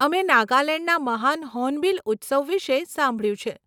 અમે નાગાલેંડના મહાન હોર્નબીલ ઉત્સવ વિષે સાંભળ્યું છે.